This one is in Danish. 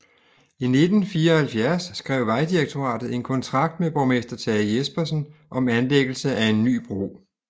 I 1974 skrev Vejdirektoratet en kontrakt med borgmester Tage Jespersen om anlæggelse af en ny bro